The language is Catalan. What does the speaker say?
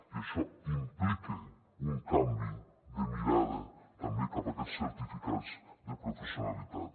i això implica un canvi de mirada també cap a aquests certificats de professionalitat